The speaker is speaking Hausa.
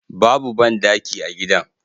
Babu bandaki a gidan